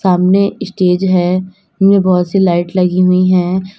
सामने स्टेज है उनमें बहुत सी लाइट लगी हुई है।